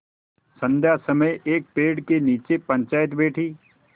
संध्या समय एक पेड़ के नीचे पंचायत बैठी